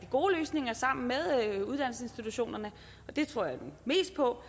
gode løsninger sammen med uddannelsesinstitutionerne og det tror jeg mest på